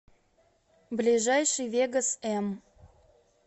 ближайший вегос м